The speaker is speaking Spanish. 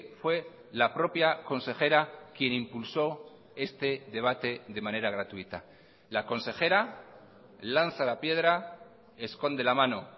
fue la propia consejera quién impulsó este debate de manera gratuita la consejera lanza la piedra esconde la mano